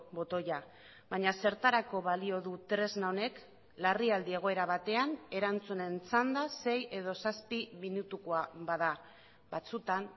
botoia baina zertarako balio du tresna honek larrialdi egoera batean erantzunen txanda sei edo zazpi minutukoa bada batzuetan